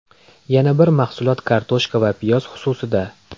Yana bir mahsulot kartoshka va piyoz xususida.